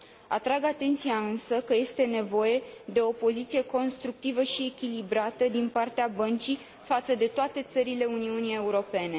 Atrag atenția, însă, că este nevoie de o poziție constructivă și echilibrată din partea băncii față de toate țările Uniunii Europene.